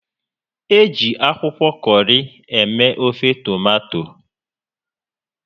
Eji akwụkwọ kọrị eme ofe tomato